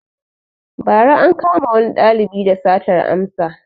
Ba ra ankama wani ɗalibi da satar amsa